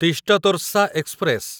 Teesta Torsa express